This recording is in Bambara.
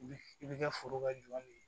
I bɛ kɛ foro ka jɔn de ye